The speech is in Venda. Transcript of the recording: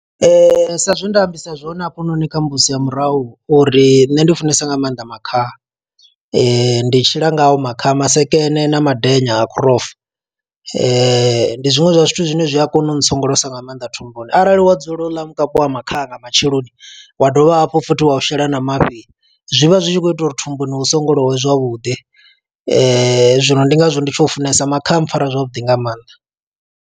Ee, sa zwe nda ambisa zwone hafhanoni kha mbudziso ya murahu, uri nṋe ndi funesa nga maanḓa makhaha. Ndi tshila ngao makhaha, masekene, na madenya a grouph . Ndi zwiṅwe zwa zwithu zwine zwi a kona u tsongolosa nga maanḓa thumbuni, arali wa dzula uḽa mukapi wa makhaha nga matsheloni, wa dovha hafhu futhi wa u shela na mafhi. Zwivha zwi tshi khou ita uri thumbuni hu songolowe zwavhuḓi. Zwino ndi ngazwo ndi tshi u funesa. Makhaha a pfara zwavhuḓi nga maanḓa.